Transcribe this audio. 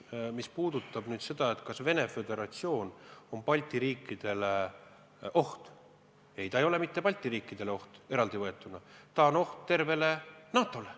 Mis puudutab nüüd seda, kas Venemaa Föderatsioon on Balti riikidele oht – ei, ta ei ole oht mitte Balti riikidele eraldivõetuna, ta on oht tervele NATO-le.